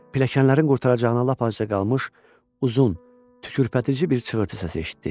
Pilləkənlərin qurtaracağına lap azca qalmış uzun, tükpərtitici bir cığırtı səsi eşitdi.